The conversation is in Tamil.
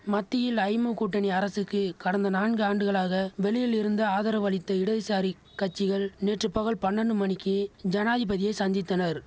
மத்தியில் ஐமு கூட்டணி அரசுக்கு கடந்த நான்கு ஆண்டுகளாக வெளியில் இருந்து ஆதரவளித்த இடதுசாரிக் கட்சிகள் நேற்று பகல் பண்ணண்டு மணிக்கி ஜனாதிபதியை சந்தித்தனர்